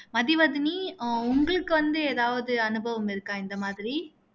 மதுவதனி அஹ் உங்களுக்கு வந்து எதாவது அனுபவம் இருக்கா இந்த மாதிரி